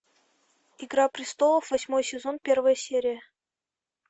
игра престолов восьмой сезон первая серия